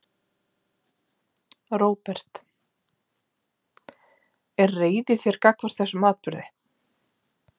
Róbert: Er reiði í þér gagnvart þessum atburði?